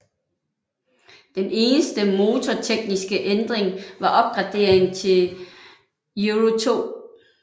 Den eneste motortekniske ændring var opgraderingen til Euro2